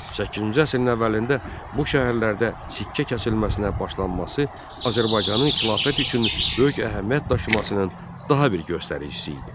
Səkkizinci əsrin əvvəlində bu şəhərlərdə sikkə kəsilməsinə başlanması Azərbaycanın xilafət üçün böyük əhəmiyyət daşımasının daha bir göstəricisi idi.